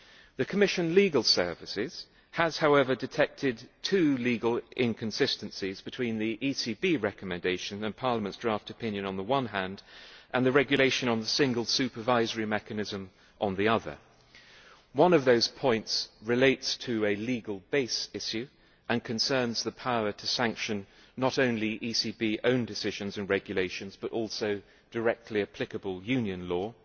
The Commissionʼs legal services have, however, detected two legal inconsistencies between the ECB recommendation and Parliament's draft opinion, on the one hand, and the Regulation on the Single Supervisory Mechanism on the other. One of those points relates to a legal base issue and concerns the power to sanction not only the ECBʼs own decisions and regulations, but also directly applicable Union law,